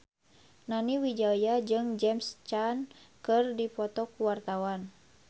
Nani Wijaya jeung James Caan keur dipoto ku wartawan